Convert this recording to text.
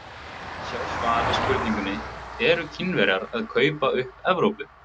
Sjá svar við spurningunni Eru Kínverjar að kaupa upp Evrópu?